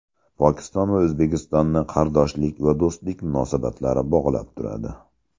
Pokiston va O‘zbekistonni qardoshlik va do‘stlik munosabatlari bog‘lab turadi.